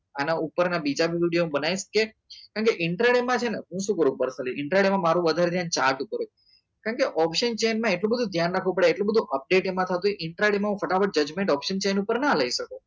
આના ઉપર ના બીજા બી હું video બનાવીસ કે કેમ કે માં છે ને હું શું કરું ખાલી માં મારું વધારે છે ને chart ઉપર હોય કેમ કે option chain એટલું બધું ધ્યાન રાખવું પડે એટલું બધું update એમાં થતું હોય માં હું ફટાફટ judgment option chain ઉપર ના લઇ શકું